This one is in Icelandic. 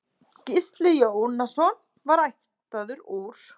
Gísli Jónasson var ættaður úr